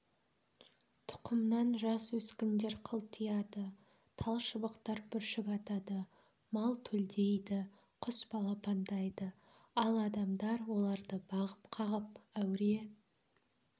тұқымнан жас өскіндер қылтияды тал-шыбықтар бүршік атады мал төлдейді құс балапандайды ал адамдар оларды бағып-қағып әуре